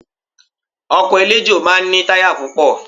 Ọkọ̀ eléjò máa ń ní táyà púpọ̀